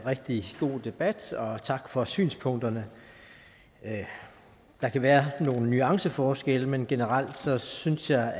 rigtig god debat og tak for synspunkterne der kan være nogle nuanceforskelle men generelt synes jeg